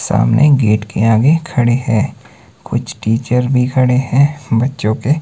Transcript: सामने गेट के आगे खड़े हैं कुछ टीचर भी खड़े हैं बच्चों के--